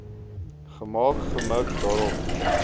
gemaak gemik daarop